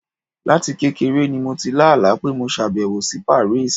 Láti kékeré ni mo ti lá àlá pé mo ṣàbẹ̀wò sí Paris.